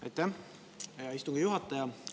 Aitäh, hea istungi juhataja!